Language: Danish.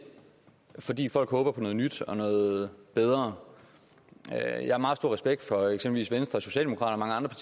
fordi folk håber på noget nyt og noget bedre jeg har meget stor respekt for eksempelvis venstre og socialdemokraterne og